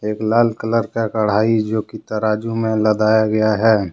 एक लाल कलर का कड़ाही जो कि तराजू में लदाया गया है।